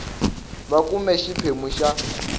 wa a kumbe xiphemu xa